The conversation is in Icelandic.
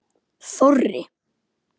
Þorri